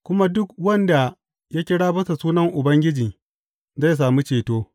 Kuma duk wanda ya kira bisa sunan Ubangiji zai sami ceto.’